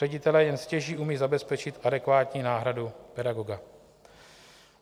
Ředitelé jen stěží umí zabezpečit adekvátní náhradu pedagoga.